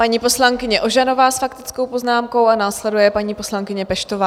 Paní poslankyně Ožanová s faktickou poznámkou a následuje paní poslankyně Peštová.